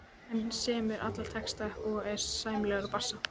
Hann semur alla texta og er sæmilegur á bassa.